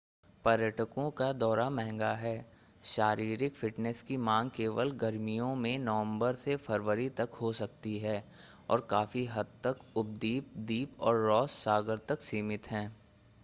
पर्यटकों का दौरा महंगा है शारीरिक फ़िटनेस की मांग केवल गर्मियों में नवंबर से फ़रवरी तक हो सकती है और काफी हद तक उपद्वीप द्वीप और रॉस सागर तक सीमित हैं